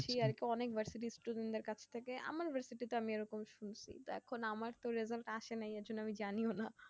অনেক versity কাছ থেকে আমার versity তে আমি এরকম উহ দেখো আমার তো result আসে নাই ঐজন্যে আমি জানিও না